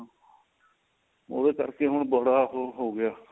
ਉਹਦੇ ਕਰਕੇ ਹੁਣ ਬੜਾ ਉਹ ਹੋ ਗਿਆ